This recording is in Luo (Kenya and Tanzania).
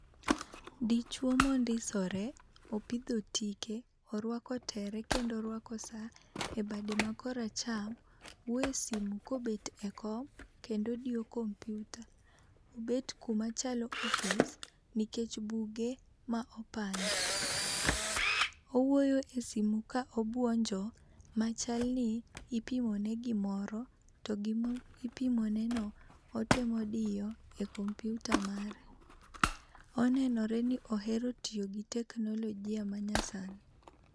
Dichuo mondisore, opidho tike, orwako tere kendo orwako sa ebade ma kor acham, wuoyo e simu kobet e kom kendo odiyo kompyuta. Obet kuma chalo ofis nikech buge ma opangi. Owuoyo e simu ka obuonjo ma chalni ipimo ne gimoro to gima ipimoneno otemo diyo e kompyuta mare. Onenore ni ohero tiyo gi teknoligi ma nyasani.